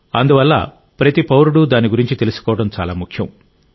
అందువల్ల ప్రతి పౌరుడు దాని గురించి తెలుసుకోవడం చాలా ముఖ్యం